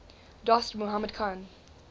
dost mohammad khan